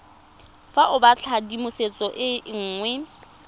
fa o batlatshedimosetso e nngwe